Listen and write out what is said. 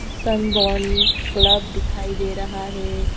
Sunburn club दिखाई दे रहा है।